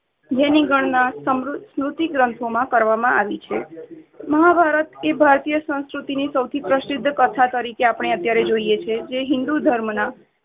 જેની ગણના સ્મૃ~ સ્મૃતિ ગ્રંથો માં કરવામાં આવી છે. મહાભારત તે ભારતીય સંસ્કૃતિ ની સૌથી પ્રસિદ્ધ કથા તરીકે આપણે અત્યારે જોઈએ છીએ તે હિન્દૂ ધર્મ ના